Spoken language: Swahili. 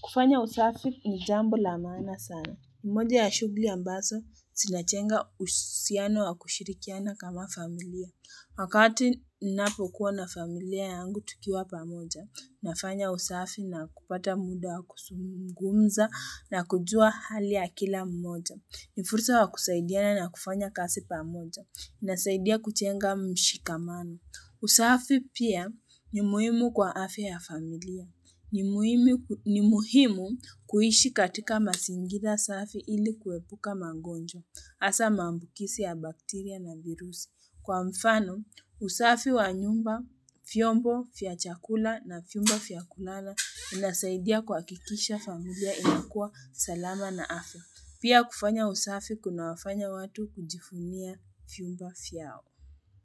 Kufanya usafi ni jambo la maana sana. Mmoja ya shughuli ambazo zinajenga uhusiano wa kushirikiana kama familia. Wakati Ninapokuwa na familia yangu tukiwa pamoja, nafanya usafi na kupata muda wa kuzungumza na kujua hali ya kila mmoja. Ni fursa ya kusaidiana na kufanya kazi pamoja Nasaidia kujenga mshikamano. Usafi pia ni muhimu kwa afya ya familia. Ni muhimu ni muhimu kuishi katika mazingira safi ili kuepuka magonjwa haswa maambukizi ya bakteria na virusi. Kwa mfano, usafi wa nyumba, vyombo vya chakula na vyumba vya kulala inasaidia kuhakikisha familia inakua salama na afya. Pia kufanya usafi kuna wafanya watu kujivunia vyumba vyao.